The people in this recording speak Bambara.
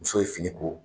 Muso ye fini ko